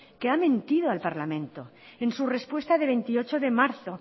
que ha mentido al parlamento en su respuesta de veintiocho de marzo